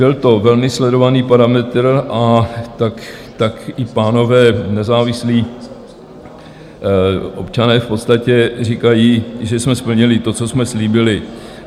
Byl to velmi sledovaný parametr a tak i pánové, nezávislí občané, v podstatě říkají, že jsme splnili to, co jsme slíbili.